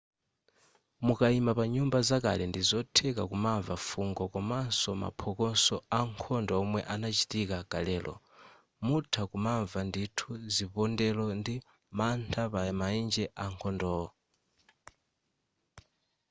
mukaima pa nyumba zakale ndi zotheka kumamva fungo komanso maphokoso ankhondo omwe anachitika kalelo mutha kumamva ndithu zipondelo ndi mantha pa maenje akhondowo